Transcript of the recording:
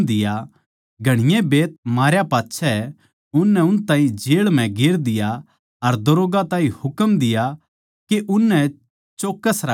घणी बैत मारे पाच्छै उननै उन ताहीं जेळ म्ह गेर दिया अर दरोग्गा ताहीं हुकम दिया के उननै चौक्कस राखिये